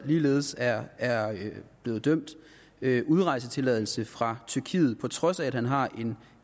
ligeledes er er blevet dømt udrejsetilladelse fra tyrkiet på trods af at han har en